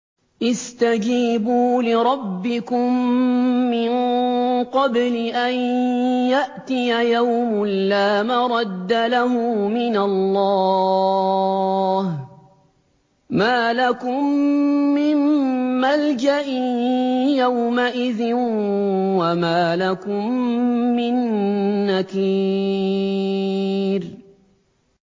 اسْتَجِيبُوا لِرَبِّكُم مِّن قَبْلِ أَن يَأْتِيَ يَوْمٌ لَّا مَرَدَّ لَهُ مِنَ اللَّهِ ۚ مَا لَكُم مِّن مَّلْجَإٍ يَوْمَئِذٍ وَمَا لَكُم مِّن نَّكِيرٍ